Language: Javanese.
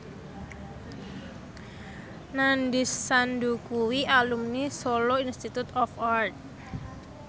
Nandish Sandhu kuwi alumni Solo Institute of Art